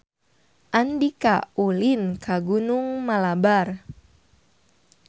Andika ulin ka Gunung Malabar